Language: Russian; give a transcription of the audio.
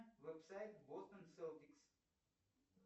веб сайт бостон селтикс